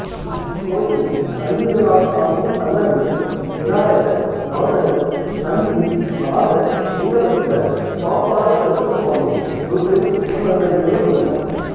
இக்கோயிலில் கலியுகநாதசாமி சன்னதியும் விநாயகர் நவக்கிரகம் நந்தி நாகர் வீரபத்திரர் பாப்பார கருப்பசுவாமி துர்க்கை உபசன்னதிகளும் உள்ளன